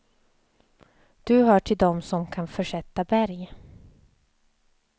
Du hör till dom som kan försätta berg.